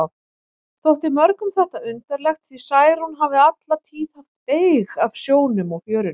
Þótti mörgum þetta undarlegt, því Særún hafði alla tíð haft beyg af sjónum og fjörunni.